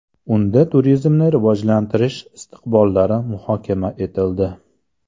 Unda turizmni rivojlantirish istiqbollari muhokama etildi.